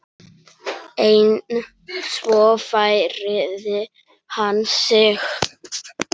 En svo færði hann sig.